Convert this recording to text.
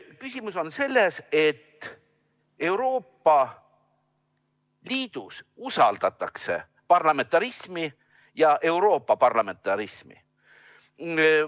" Küsimus on selles, et Euroopa Liidus usaldatakse parlamentarismi, Euroopa parlamentarismi.